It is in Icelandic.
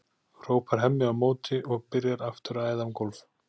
hrópar Hemmi á móti og byrjar aftur að æða um gólf.